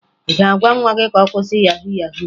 Ị ga-agwa nwa gị ka ọ kwụsị yahu yahu?